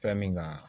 Fɛn min ka